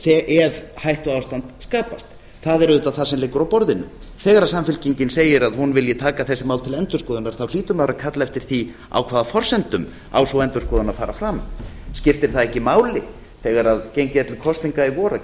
ef hættuástand skapast það er auðvitað það sem liggur á borðinu þegar samfylkingin segir að hún vilji taka þessi mál til endurskoðunar hlýtur maður að kalla eftir því á hvaða forsendum á sú endurskoðun að fara fram skiptir það ekki máli þegar gengið er til kosninga í vor að